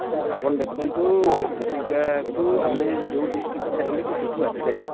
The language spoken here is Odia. ଆପଣ ଦେଖନ୍ତୁ ଚିଲିକା କୁ ଆମେ ଯେଉଁ district ରୁ ଚାହିଁଲେ ବି ସେଠୁ ଆସି ପାରିବା |